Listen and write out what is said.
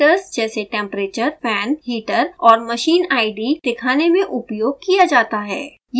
यह विविध पैरामीटर्स जैसे temperature fan heater और machine id mid दिखाने में उपयोग किया जाता है